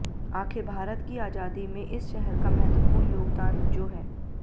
आखिर भारत की आजादी में इस शहर का महत्वपूर्ण योगदान जो है